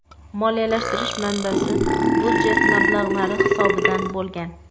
Moliyalashtirish manbasi budjet mablag‘lari hisobidan bo‘lgan.